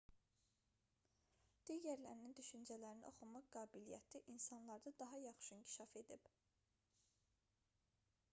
digərlərinin düşüncələrini oxumaq qabiliyyəti insanlarda daha yaxşı inkişaf edib